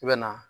I bɛ na